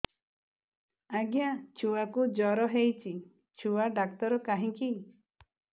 ଆଜ୍ଞା ଛୁଆକୁ ଜର ହେଇଚି ଛୁଆ ଡାକ୍ତର କାହିଁ କି